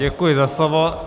Děkuji za slovo.